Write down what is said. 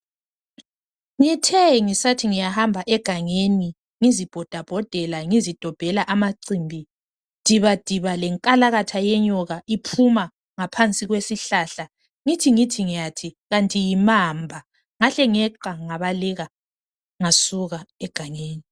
Ngithe ngisathi ngiyahamba egangeni ngizibhodabhodela ,ngizidobhela amacimbi dibadiba lenkalakatha yenyoka iphuma ngaphansi kwesihlahla ngithi ngithi ngiyathi kanti mamba ,ngahle ngeqa ngabaleka ngasuka egangeni.